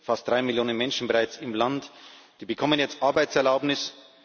Fast drei Millionen Menschen bereits im Land, die bekommen jetzt Arbeitserlaubnisse.